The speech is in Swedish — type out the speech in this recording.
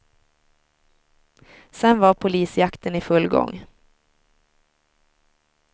Sen var polisjakten i full gång.